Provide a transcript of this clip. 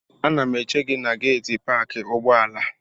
Ana m eche gị na geetị paakị ụgbọala.